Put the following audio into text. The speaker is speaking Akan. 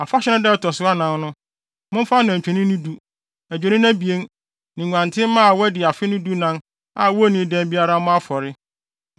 “ ‘Afahyɛ no da a ɛto so anan no, momfa anantwinini du, adwennini abien, ne nguantenmma a wɔadi afe no dunan a wonnii dɛm biara mmɔ afɔre.